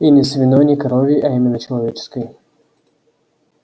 и не свиной не коровьей а именно человеческой